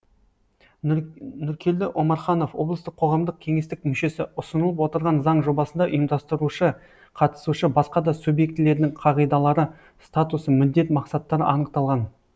нұркелді омарханов облыстық қоғамдық кеңестің мүшесі ұсынылып отырған заң жобасында ұйымдастырушы қатысушы басқа да субъектілердің қағидалары статусы міндет мақсаттары анықталған